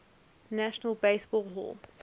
national baseball hall